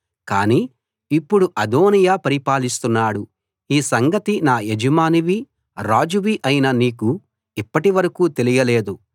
కానీ ఇప్పుడు అదోనీయా పరిపాలిస్తున్నాడు ఈ సంగతి నా యజమానివీ రాజువీ అయిన నీకు ఇప్పటి వరకూ తెలియలేదు